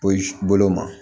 Poyi bolo ma